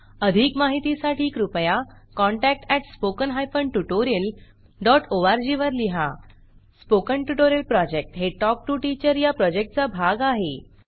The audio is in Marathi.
अधिक माहितीसाठी कृपया contact at spoken hyphen tutorial dot org वर लिहा स्पोकन ट्युटोरियल प्रॉजेक्ट हे टॉक टू टीचर या प्रॉजेक्टचा भाग आहे